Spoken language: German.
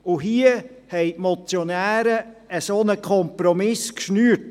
Hier haben die Motionäre einen solchen Kompromiss gemacht.